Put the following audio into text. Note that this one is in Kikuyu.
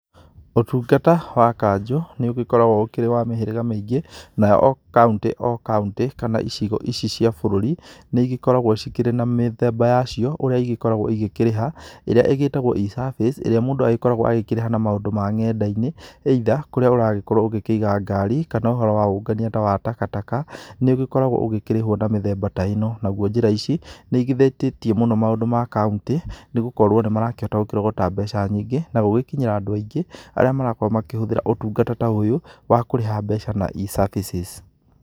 Ũtungata wa kanjũ nĩũgĩkoragwo ũkĩrĩ wa mĩhĩriga mĩingi, Nayo o Kauntĩ o Kauntĩ, kana icigo ici cia bũrũri, nĩigĩkoragwo cikĩri na mĩthemba yacio ũrĩa igĩkoragwo ikĩriha, ĩrĩa ĩtagwo e-service, irĩa mũndũ agĩkoragwo agĩkĩrĩha na maũndũ ma ng'enda-inĩ. Either kũrĩa ũragĩkorwo ũgĩkĩiga ngari, kana ũhoro wa ũngania ta wa takataka. Nĩ ugĩkoragwo ũkĩrĩhwo na mĩthemba ta ĩno. Naguo njĩra ici, nĩigithetĩtiì mũno maũndũ ma Kauntĩ, nĩgũkorwo nĩmarakĩhota gũkĩrogota mbeca nyingĩ, na gũgĩkinyĩra andũ aingĩ arĩa marakorwo makĩhũthĩra ũtungata ta ũyũ, wa kũrĩha mbeca na e-services.